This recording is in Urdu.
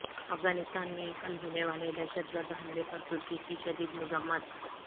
افغانستان میں کل ہونے والے دہشت گرد حملے پر ترکی کی شدید مذمت